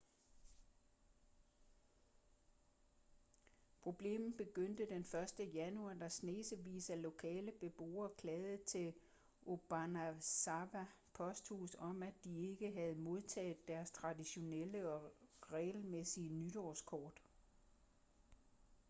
problemet begyndte den 1. januar da snesevis af lokale beboere klagede til obanazawa posthus om at de ikke havde modtaget deres traditionelle og regelmæssige nytårskort